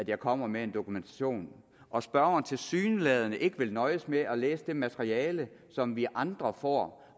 jeg kommer med dokumentation og spørgeren tilsyneladende ikke vil nøjes med at læse det materiale som vi andre får